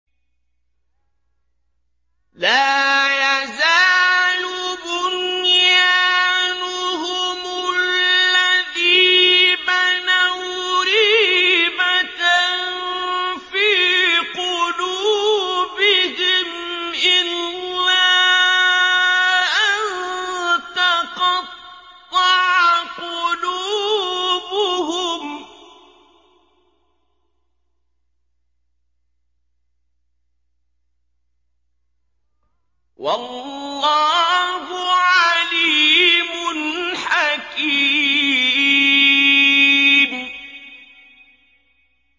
لَا يَزَالُ بُنْيَانُهُمُ الَّذِي بَنَوْا رِيبَةً فِي قُلُوبِهِمْ إِلَّا أَن تَقَطَّعَ قُلُوبُهُمْ ۗ وَاللَّهُ عَلِيمٌ حَكِيمٌ